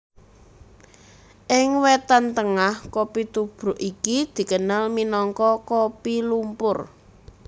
Ing Wétan Tengah kopi tubruk iki dikenal minangka kopi lumpur